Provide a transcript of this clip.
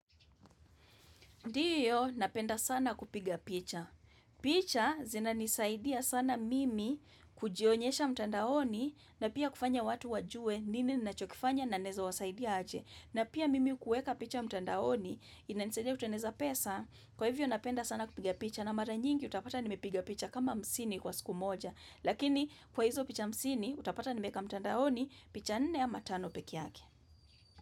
Ndiyo napenda sana kupiga picha. Picha zinanisaidia sana mimi kujionyesha mtandaoni na pia kufanya watu wajue nini nachokifanya na naeza wasaidia aje. Na pia mimi kueka picha mtandaoni inanisaidia kuteneza pesa kwa hivyo napenda sana kupiga picha na mara nyingi utapata nimepiga picha kama hamsini kwa siku moja. Lakini kwa hizo picha hamsini utapata nimeeka mtandaoni picha nne ama ano peke yake.